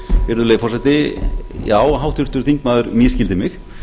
virðulegi forseti já háttvirtur þingmaður misskildi mig